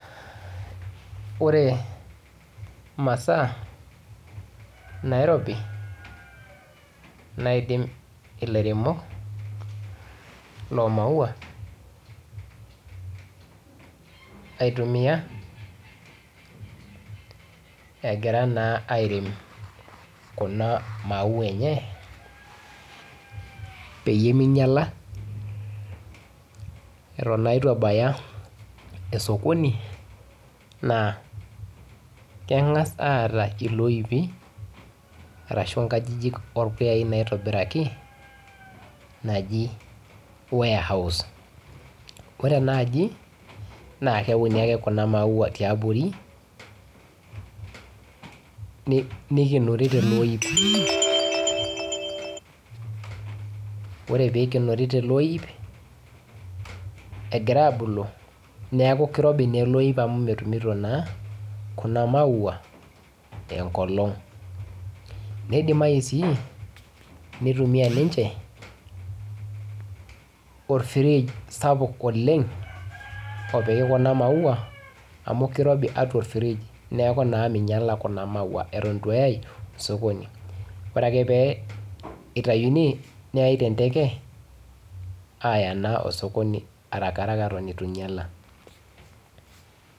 Ore imasaa nairobi naidim ilairemok lomaua aitumia , egira naa airem kuna maua enye peyie minyiala eton naa itu ebaya esokoni naa kengas aata iloipi arashu nkajijik orpuyai naitobiraki naji warehouse , ore enaaji naa keuni ake kuna maua tiabori nikienori toloip ,ore pikienori teleoip neeku kirobi naa ele oip amu metumito naa kuna maua enkolong neidimayu sii orfride sapuk oleng opiki kuna maua amu kirobi atua orfridge .